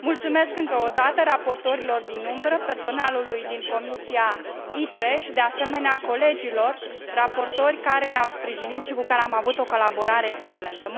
Mulțumesc încă o dată raportorilor din umbră, personalului din Comisia ITRE și, de asemenea, colegilor raportori care ne au sprijinit și cu care am avut o colaborare excelentă.